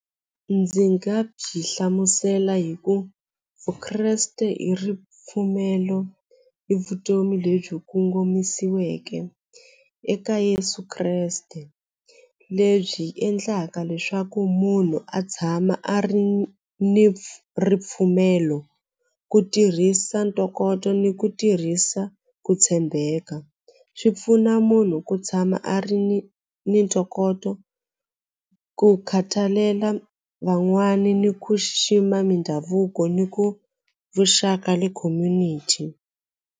Ndzi nga byi hlamusela hi ku vukreste i ripfumelo i vutomi lebyi kongomisiweke eka Yeso Kreste lebyi endlaka leswaku munhu a tshama a ri ni ripfumelo ku tirhisa ntokoto ni ku tirhisa ku tshembeka swi pfuna munhu ku tshama a ri ni ni ntokoto ku khatalela van'wani ni ku xixima mindhavuko ni ku vuxaka le community.